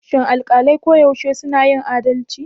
Shin alƙalai koyaushe suna yin adalci?